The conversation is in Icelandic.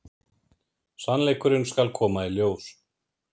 Sannleikurinn skal koma í ljós.